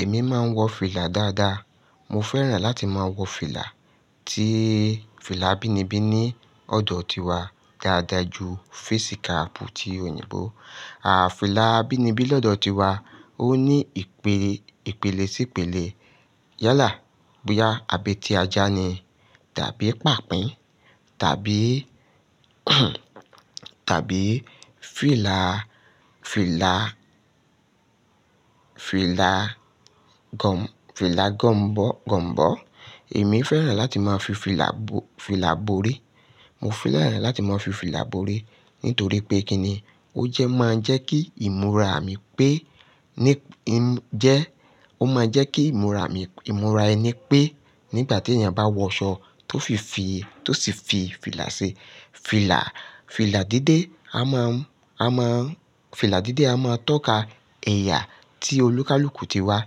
Èmi máa ń wọ fìlà dáadáa. Mo fẹ́ràn láti máa wọ fìlà tí fìlà abíinibi ní ọ̀dọ̀ tiwa dáadáa ju facíkààpù ti òyìnbó. Àà fìlà bíi nibi lọ́dọ̀ tiwa ó ní ìpele sí ìpele. Yálà, bóyá abẹ́tiajá ni tàbí pàpín tàbí, tàbí fìlà, fìlà, fìlà gọ̀m-fìlà gọ̀m-gọ̀mọ̀bọ̀. Èmi fẹ́ràn láti máa fi fìlà bo- fìlà borí. Mo fẹ́ràn láti máa fi fìlà borí nítorí pé kíni ó jẹ́ máa ń jẹ́ kí ìmúra mi pé ní í jẹ́, ó máa ń jẹ́ kí ìmúra mi, ìmúra ẹni pé nígbà tí èèyàn bá wọ aṣọ tó fi fìi tó sì fi fìlà ṣe, fìlà, fìlà dídé a máa ń, a máa ń, fìlà dídé a máa ń tọ́ka ẹ̀yà tí olúkúlùkù ti wà,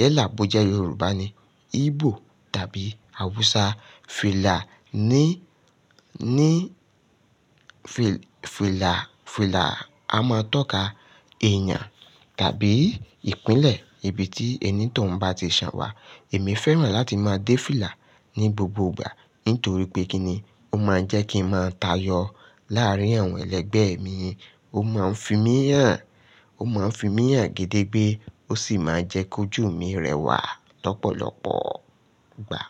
yala bó je Yorùbá ni, Igbo tàbí Hausa. Fìlà ní, ní fìlà, fìlà a máa ń tọ́ka ẹ̀yàn tàbí ìpínlẹ̀ ibi tí ẹni tó ń bá ti san wà. Èmi fẹ́ràn láti máa dé fìlà ní gbogbo ìgbà nítorí pé kíni ó máa ń jẹ́ kí n máa tayọ láàárín àwọn ẹlẹgbẹ́ mi, ó máa ń fi mí hàn, ó máa ń fi mí hàn gẹ́dẹ́gbẹ́, ó sì máa ń jẹ́ kó jù mí rẹwà lọ́pọ̀lọ́pọ̀ ìgbà.